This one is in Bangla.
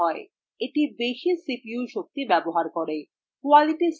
এটি বেশি cpu শক্তি ব্যবহার করে